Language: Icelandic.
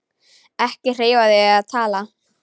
Ekki hreyfa þig eða tala.